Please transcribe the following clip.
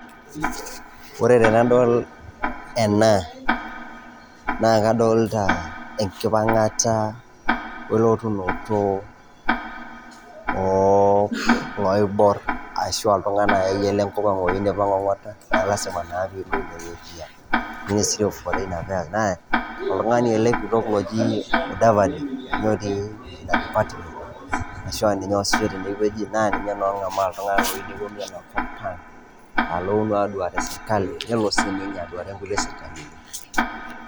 Ore tenadol ena naa kadolIta ekipang'ata welotunoto oo loiborr ashu iltung'anak akeyie lenkopang' ashu iltung'ana akeyie lenkopang' oyieu nepuo ong'ata, naa ilasima naa pee ilo ineweji oltungani ele oji mudavadi otii ine ashu aa ninye oosisho teneweji nengamaa iltung'anak nelo sininye aduare inkulie sirkalini.